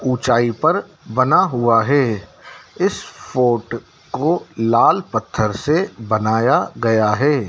ऊंचाई पर बना हुआ है इस फोर्ट को लाल पत्थर से बनाया गया है।